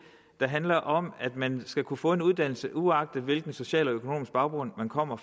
der handler om at man skal kunne få en uddannelse uagtet hvilken social og økonomisk baggrund man kommer